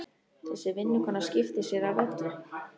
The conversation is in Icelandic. Þessi vinnukona skiptir sér af öllu.